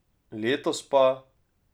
Letos pa ...